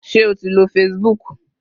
Ṣé o ti lo Facebook?